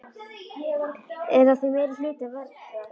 Er að því meiri hluta vetrar.